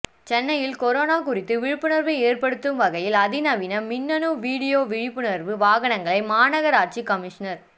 சென்னையில் கொரோனா குறித்து விழிப்புணர்வு ஏற்படுத்தும் வகையில் அதிநவீன மின்னணு வீடியோ விழிப்புணர்வு வாகனங்களை மாநகராட்சி கமிஷனர்